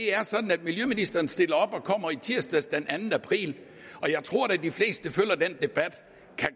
er sådan at miljøministeren stillede op og kom tirsdag den anden april og jeg tror da at de fleste der følger den debat